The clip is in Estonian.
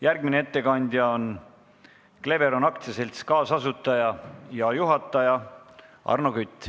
Järgmine ettekandja on Cleveron AS-i kaasasutaja ja juhataja Arno Kütt.